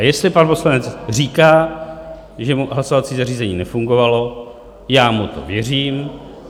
A jestli pan poslanec říká, že mu hlasovací zařízení nefungovalo, já mu to věřím.